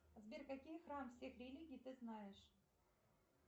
сбер какие храмы всех религий ты знаешь